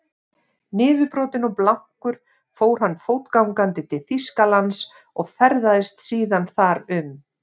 Niðurbrotinn og blankur fór hann fótgangandi til Þýskalands og ferðaðist síðan þar um.